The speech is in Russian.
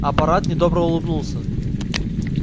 апорат недобро улыбнулся